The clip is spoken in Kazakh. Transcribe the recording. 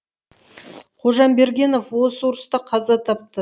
қожамбергенов осы ұрыста қаза тапты